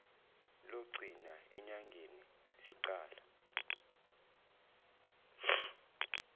logcina enyangeni siqale